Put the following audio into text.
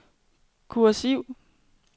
kursiv